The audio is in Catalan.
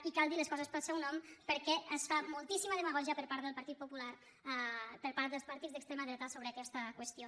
i cal dir les coses pel seu nom perquè es fa moltíssima de·magògia per part del partit popular per part dels par·tits d’extrema dreta sobre aquesta qüestió